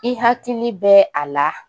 I hakili bɛ a la